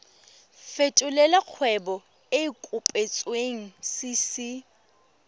fetolela kgwebo e e kopetswengcc